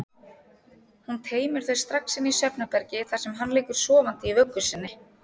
Hún teymir þau strax inn í svefnherbergi þar sem hann liggur sofandi í vöggu sinni.